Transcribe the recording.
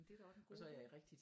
Det er da også en god idé